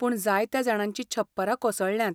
पूण जायत्या जाणांची छप्परां कोसळ्ळ्यांत.